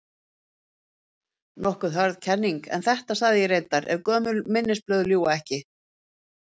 Nokkuð hörð kenning, en þetta sagði ég reyndar- ef gömul minnisblöð ljúga ekki.